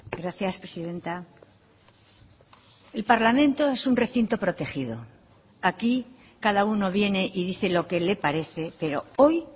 gracias presidenta el parlamento es un recinto protegido aquí cada uno viene y dice lo que le parece pero hoy